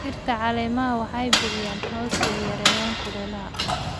Dhirta caleemaha waxay bixiyaan hoos iyo yareeyaan kulaylka.